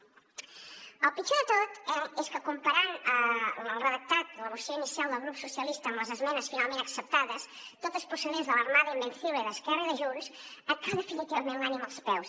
el pitjor de tot és que comparant el redactat de la moció inicial del grup socialistes amb les esmenes finalment acceptades totes procedents de l’ble d’esquerra i de junts et cau definitivament l’ànima als peus